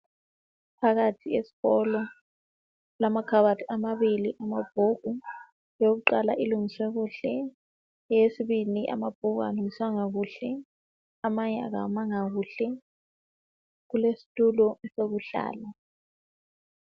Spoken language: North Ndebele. Phakathi esikolo kulamakhabothi amabili amabhuku. Eyokuqala ilungiswe kuhle, eyesibili amabhuku awalungiswanga kuhle, amanye awamanga kuhle. Kulesitulo sokuhlala.